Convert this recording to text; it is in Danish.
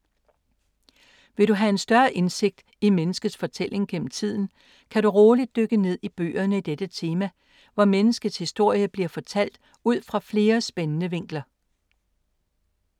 Vil du have en større indsigt i menneskets fortælling gennem tiden, kan du roligt dykke ned i bøgerne i dette tema, hvor menneskets historie bliver fortalt ud fra flere spændende vinkler.